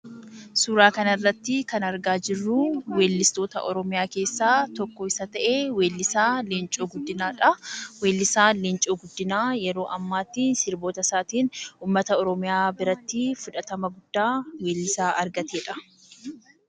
Suuraa kanarratti kan argaa jirruu weellistoota Oromoo keessaa tokko isa ta'ee weellisaa Leencoo Guddinaadhaa, weellisaan Leencoo Guddinaa yeroo ammaatti sirbootasaatiin uummata Oromoo birattii fudhatama guddaa weellisaa argateedha.